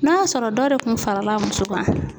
N'a sɔrɔ dɔ de kun farala muso kan.